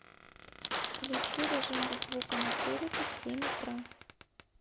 включи режим без звука на телике в семь утра